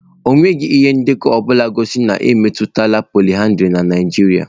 Enweghị ndekọ ọ bụla gosiri na a na-emetụla pọlyndrị na Nigeria.